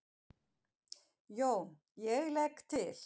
JÓN: Ég legg til.